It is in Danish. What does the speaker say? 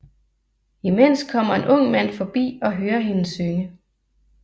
Imens kommer en ung mand forbi og hører hende synge